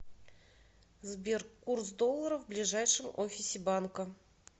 сбер курс доллара в ближайшем офисе банка